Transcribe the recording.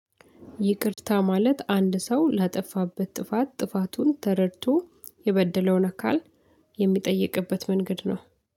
ይቅርታ ማለት አንድ ሰው ላጠፋበት ጥፋት ጥፋቱን ተረድቶ የበደለውን አካል የሚጠይቅበት መንገድ ነው